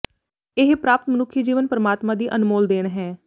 ਇਹ ਪ੍ਰਾਪਤ ਮਨੁੱਖੀ ਜੀਵਨ ਪਰਮਾਤਮਾ ਦੀ ਅਨਮੋਲ ਦੇਣ ਹੈ